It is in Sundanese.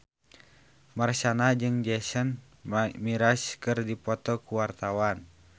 Marshanda jeung Jason Mraz keur dipoto ku wartawan